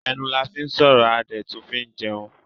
Ẹnu la fín sọ̀rọ̀ a dẹ̀ tún fín jẹun.